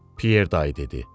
Pyer dayı dedi.